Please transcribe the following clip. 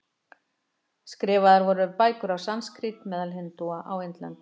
Skrifaðar voru bækur á sanskrít meðal hindúa á Indlandi.